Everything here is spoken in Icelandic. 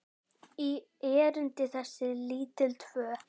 í erindi þessi lítil tvö.